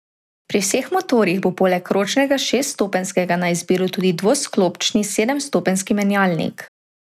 Pri vseh motorjih bo poleg ročnega šeststopenjskega na izbiro tudi dvosklopčni sedemstopenjski menjalnik.